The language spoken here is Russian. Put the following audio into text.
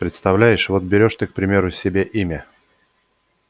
представляешь вот берёшь ты к примеру себе имя